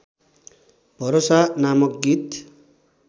भरोसा नामक गीत